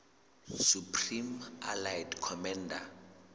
supreme allied commander